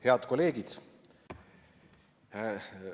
Head kolleegid!